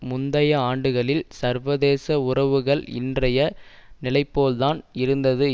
முந்தைய ஆண்டுகளில் சர்வதேச உறவுகள் இன்றைய நிலைப்போல் தான் இருந்தது